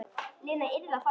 Lena yrði að fara.